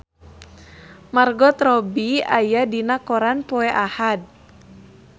Margot Robbie aya dina koran poe Ahad